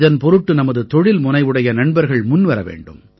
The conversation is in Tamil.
இதன் பொருட்டு நமது தொழில்முனைவுடைய நண்பர்கள் முன்வர வேண்டும்